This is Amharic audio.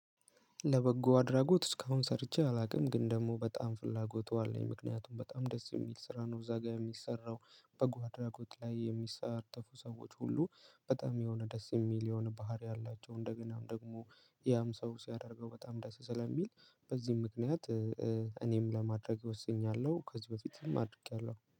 ለበጎ አድራጎት እስካሁን ሰርቼ አላውቅም፤ ግን ደግሞ በጣም ፍላጎቱ አለኝ። ምክንያቱም በጣም ደስ የሚል ስራ ነው እዛ ጋር የሚሰራው፤ በጎ አድራጎት ላይ የሚሳተፉ ሰዎች ሁሉ በጣም የሆነ ደስ የሚል የሆነ ባህሪ አላቸው። እንደገናም ደግሞ ያም ሰው ሲያደርገው በጣም ደስ ስለሚል በዚህም ምክንያት እኔም ለማድረግ ወስኛለሁ። ከዚህ በፊትም አድርጌያለሁ።